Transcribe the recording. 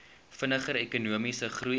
vinniger ekonomiese groei